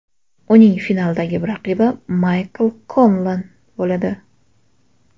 Uning finaldagi raqibi Maykl Konlan bo‘ladi.